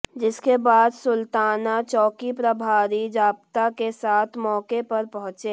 जिसके बाद सुल्ताना चौकी प्रभारी जाब्ता के साथ मौके पर पहुंचे